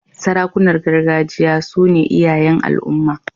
Sarakunan gargajiya su ne iyayen al'umma.